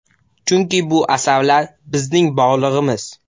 Chunki bu asarlar bizning borlig‘imiz.